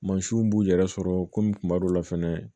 Mansinw b'u yɛrɛ sɔrɔ komi kuma dɔ la fɛnɛ